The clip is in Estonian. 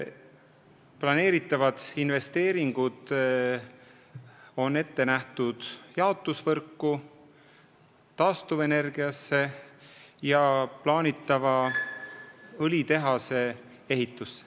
Ja need kavandatud investeeringud on ette nähtud jaotusvõrgu ja taastuvenergia arendamiseks ning plaanitava õlitehase ehituseks.